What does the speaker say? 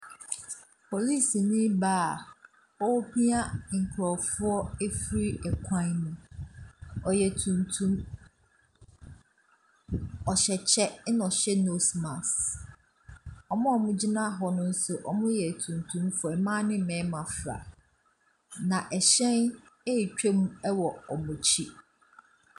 Polisini baa a ɔrepia nkurɔfo afiri kwan mu. Ɔyɛ tuntum, ɔhyɛ kyɛ na ɔhyɛ nose mask. Wɔn a wɔgyina hɔ no nso, wɔyɛ etuntumfoɔ, mmaa ne mmarima, na hyɛn ɛretwa mu wɔ wɔn akyi.